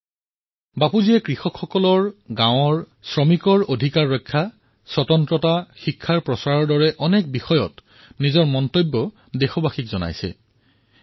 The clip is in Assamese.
পূজ্য বাপুয়ে কৃষক গাঁও শ্ৰমিকৰ অধিকাৰৰ ৰক্ষা স্বচ্ছতা শিক্ষাৰ প্ৰসাৰৰ দৰে অনেক বিষয়ত নিজৰ বিচাৰধাৰা দেশবাসীৰ সন্মুখত উত্থাপন কৰিলে